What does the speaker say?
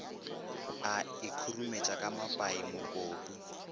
a ikhurumetša ka mapai mokopu